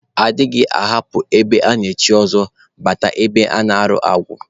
A dịghị ahapụ ebe a na-echi ọzọ, gaba ebe a na-arụ agwụ